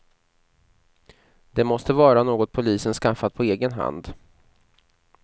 Det måste vara något polisen skaffat på egen hand.